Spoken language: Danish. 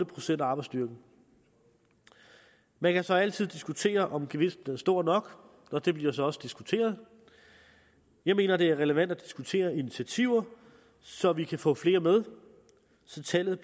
procent af arbejdsstyrken man kan så altid diskutere om gevinsten er stor nok og det bliver så også diskuteret jeg mener at det er relevant at diskutere initiativer så vi kan få flere med så tallet